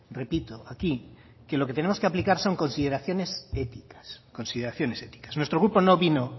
repito aquí que lo que tenemos que aplicar son consideraciones éticas nuestro grupo no vino